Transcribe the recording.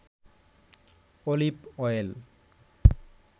olive oil